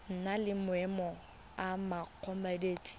na le maemo a mokopatshireletso